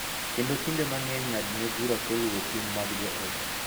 Kendo kinde mang�eny ng�adne bura kuom luwo ting� mag joot.